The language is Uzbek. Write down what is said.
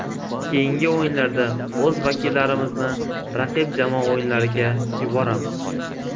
Keyingi o‘yinlarda o‘z vakillarimizni raqib jamoa o‘yinlariga yuboramiz.